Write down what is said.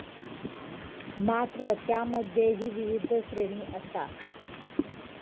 मात्र त्यामध्येही विविध श्रेणी असतात.